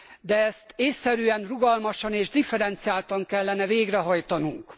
De ezt ésszerűen, rugalmasan és differenciáltan kellene végrehajtanunk.